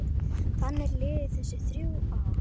Þannig liðu þessi þrjú ár.